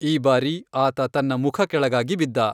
ಈ ಬಾರಿ, ಆತ ತನ್ನ ಮುಖ ಕೆಳಗಾಗಿ ಬಿದ್ದ.